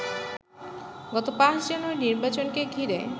গত ৫ জানুয়ারির নির্বাচনকে ঘিরে